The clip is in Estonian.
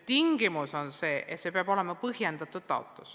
Tingimus on see, et taotlus peab olema põhjendatud.